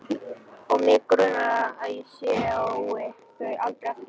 Og mig grunar að ég sjái þau aldrei aftur.